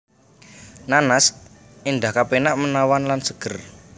Nanas endah kepenak menawan lan seger